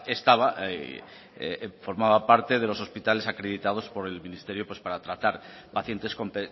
estaba formaba parte de los hospitales acreditados por el ministerio para tratar pacientes con